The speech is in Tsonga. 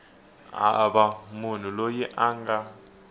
hava munhu loyi a nga